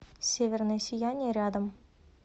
северное сияние рядом